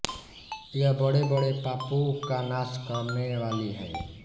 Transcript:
यह बड़ेबड़े पापों का नाश करने वाली है